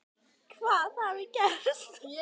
Hvað hafi gerst?